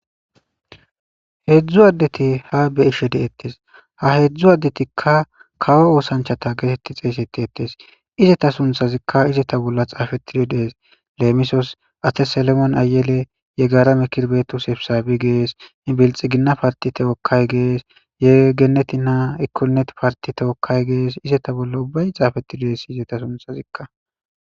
heedzdzu addeti ha be ishe deettes ha heedzdzu addetikka kawo oosanchata geetetti xeesetti ettes izeta sunthazikka izeta bolla xaafetidi dees leemisos atte selemon ayele ye gaara mikirbeetu sepisaabi gees ibilxi ginna partite wokkay gees yegeneti naa ikkonet partite wokkay gees izeta bolla ubbay xaafetti dees izeta sunthazikka